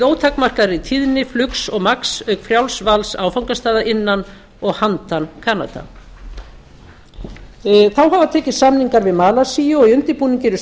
ótakmarkaðri tíðni flugs og magns auk frjáls vals áfangastaða innan og handan kanada þá hafa tekist samningar við malasíu og í undirbúningi eru